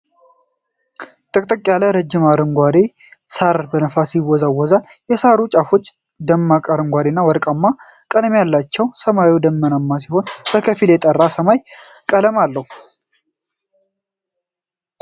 ጥቅጥቅ ያለ ረጅም አረንጓዴ ሳር በነፋስ ይወዛወዛል። የሳሩ ጫፎች ደማቅ አረንጓዴ እና ወርቃማ ቀለሞች አሏቸው። ሰማዩ ደመናማ ሲሆን በከፊልም የጠራ ሰማያዊ ቀለም አለው።